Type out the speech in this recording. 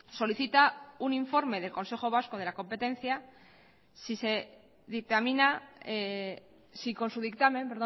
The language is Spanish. solicita un informe del consejo vasco de la competencia si con su dictamen